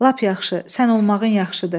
Lap yaxşı, sən olmağın yaxşıdır.